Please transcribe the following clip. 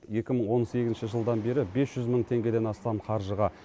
екі мың он сегізінші жылдан бері бес жүз мың теңгеден астам қаржыға